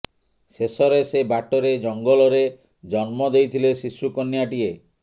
ଶେଷରେ ସେ ବାଟରେ ଜଙ୍ଗଲରେ ଜନ୍ମ ଦେଇଥିଲେ ଶିଶୁ କନ୍ୟାଟିଏ